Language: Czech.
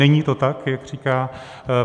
Není to tak, jak říká.